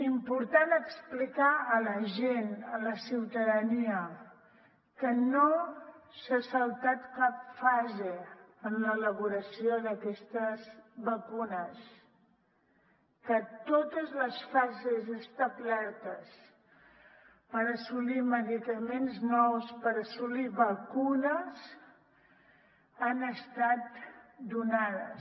important explicar a la gent a la ciutadania que no s’ha saltat cap fase en l’elaboració d’aquestes vacunes que totes les fases establertes per assolir medicaments nous per assolir vacunes han estat donades